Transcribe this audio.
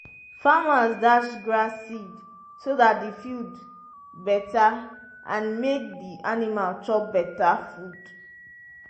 farmers dash grass seed so dat the field better and make the animal chop better food.